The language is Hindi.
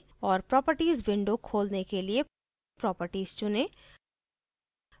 और प्रोप्रटीज window खोलने के लिए properties चुनें